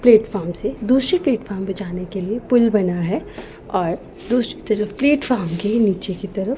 platform से दूसरी platform पे जाने के लिए पूल बना है और दूसरी तरफ प्लेटफॉर्म के नीचे की तरफ --